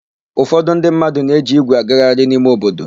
Ụfọdụ ndị mmadụ ne-eji ígwè agagharị n'ime obodo.